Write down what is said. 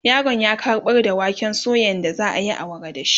yaron ya kaɓar da waken suyan da zaayi awara da shi